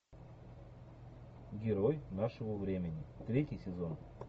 герой нашего времени третий сезон